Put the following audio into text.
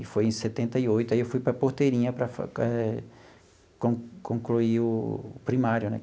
E foi em setenta e oito, aí eu fui para Porteirinha para eh con concluir o primário, né?